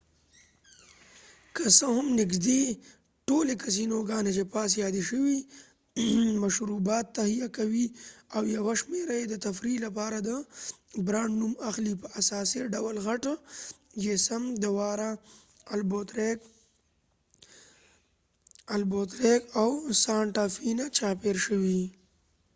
که څه هم نږدې ټولی کېسینوګانی چې پاس یادي شوي دي مشروبات تهیه کوي، او یوه شمیره یې د تفریح لپاره د برانډ نوم اخلیپه اساسی ډول غټ یې سم د واره د البوکويریک او سانټا فی نه چاپیر شي